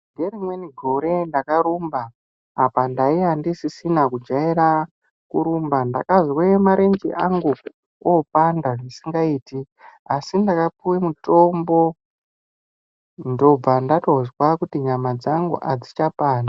Nerimweni gore ndakarumba apa ndaiya ndisisina kujaira kurumba ndakazwe marenje angu opanda zvisingaite. Asi ndakapuve mutombo ndobva ndatozwa kuti nyama dzangu hadzichapandi.